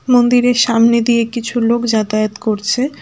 মন্দিরের সামনে দিয়ে কিছু লোক যাতায়াত করছে।